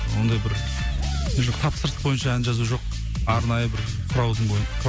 ондай бір тапсырыс бойынша ән жазу жоқ арнайы бір сұраудың